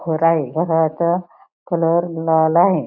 घर आहे. या घराचा कलर लाल आहे.